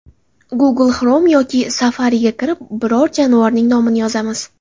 Google Chrome yoki Safari’ga kirib, biron jonivorning nomini yozamiz.